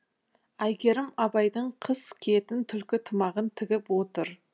әйгерім абайдың қыс киетін түлкі тымағын тігіп отыр